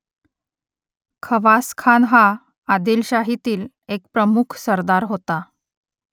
खवासखान हा आदिलशाहीतील एक प्रमुख सरदार होता